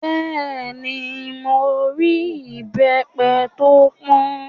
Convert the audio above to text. Bẹ́ẹ̀ni, mo rí ìbẹ́pẹ tó pọ́n